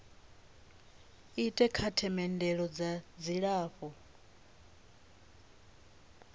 ite kha themendelo dza dzilafho